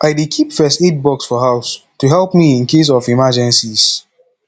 i dey keep first aid kit for house to help me in case of emergencies